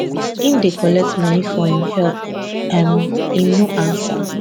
im dey collect money for im help um im no ansa